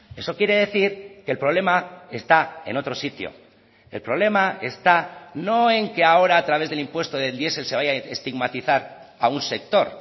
eso quiere decir que el problema está en otro sitio el problema está no en que ahora a través del impuesto del diesel se vaya a estigmatizar a un sector